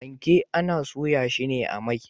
Fanke ana soya shi a mai.